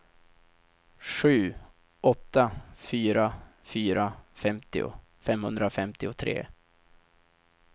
sju åtta fyra fyra femtio femhundrafemtiotre